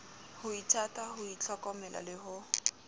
ho ithata ho ithlokomela le